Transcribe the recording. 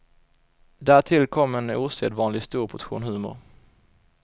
Därtill kom en osedvanligt stor portion humor.